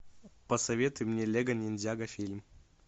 посоветуй мне лего ниндзяго фильм